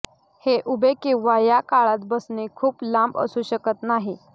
हे उभे किंवा या काळात बसणे खूप लांब असू शकत नाही